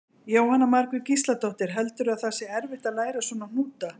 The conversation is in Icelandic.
Jóhanna Margrét Gísladóttir: Heldurðu að það sé erfitt að læra svona hnúta?